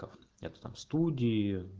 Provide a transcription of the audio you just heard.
таф нет там студии